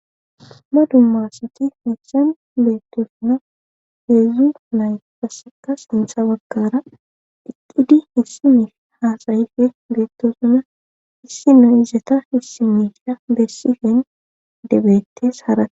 ma dummassati hessan beettosuna heedzzu nay fassaka sintha baggara iqudi hissimi haasayife beettosuna issi no izata issi mediya bessifen debeettes hara